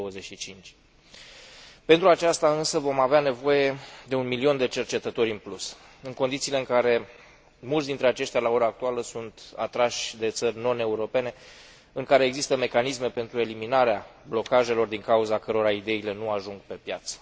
2025. Pentru aceasta, însă, vom avea nevoie de un milion de cercetători în plus, în condițiile în care mulți dintre aceștia, la ora actuală, sunt atrași de țări noneuropene în care există mecanisme pentru eliminarea blocajelor din cauza cărora ideile nu ajung pe piață.